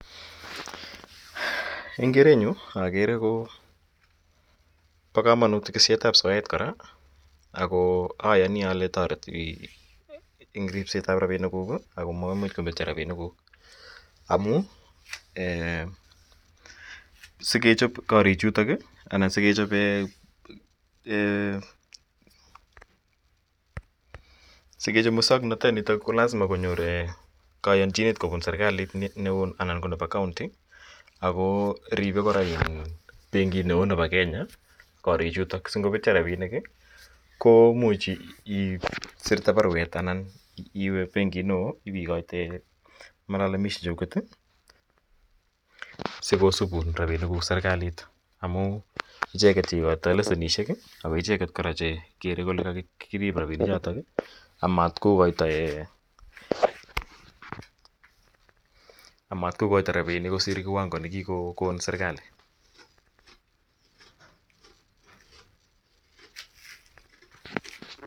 Engerenyun agere Koba kamanut kisher ab soyet koraa ako ayani Kole tareti en ripset ab rabinik guk akomamuch kometi rabinik guk amun en sikechop korik Chuto anan sikechop ? Muswaknatet kolasima konyor kayanjinet Koyab serikali anan konebi county ako Ribe kora benkit neon Nebo Kenya korik Chuto anan ningobetyo rabinik ko much isirte barwet Anna iwe benkit non iwe ikochin lalamishi cheguget sikosubun rabinik guk en serekalit amun icheket cheikotoi leshenit ako icheket koraa chekede Kole kailuban rabinik choton amatkokaito en ?k osir kiwango Kole kikokon serikalit ?